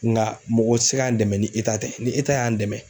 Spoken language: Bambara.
Ŋa mɔgɔ ti se k'an dɛmɛ ni tɛ ni y'an dɛmɛ